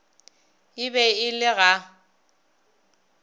e be e le ga